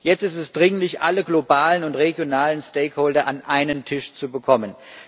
Jetzt ist es dringlich, alle globalen und regionalen an einen Tisch zu bekommen.